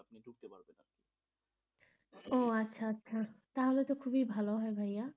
ও আচ্ছা আচ্ছা তাহলে তো খুবই ভালো হয় ভাইয়া,